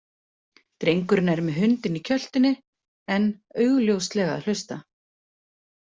Drengurinn er með hundinn í kjöltunni en augljóslega að hlusta.